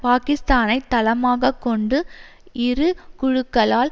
பாக்கிஸ்தானை தளமாக கொண்டு இரு குழுக்களால்